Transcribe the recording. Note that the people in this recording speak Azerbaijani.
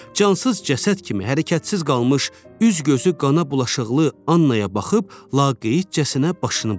Cansız cəsəd kimi hərəkətsiz qalmış, üz-gözü qana bulaşıqlı Annaya baxıb laqeydcəsinə başını buladı.